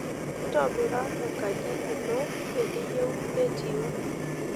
Ntobira enkaji ino eniyieu netiuu.